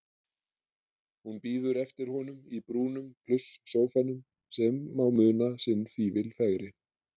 Hún bíður eftir honum í brúnum plusssófanum sem má muna sinn fífil fegri.